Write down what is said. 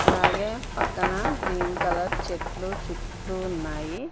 అలాగే పక్కన green colour చెట్లు చుట్టూ ఉన్నాయి.